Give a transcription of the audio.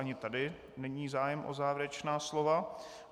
Ani tady není zájem o závěrečná slova.